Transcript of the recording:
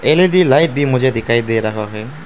L E D light भी मुझे दिखाई दे रहा है।